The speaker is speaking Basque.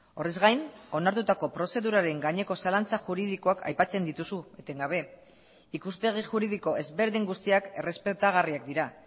horrez gain onartutako prozeduraren gaineko zalantza juridikoak aipatzen dituzu etengabe ikuspegi juridiko ezberdin guztiak errespetagarriak dira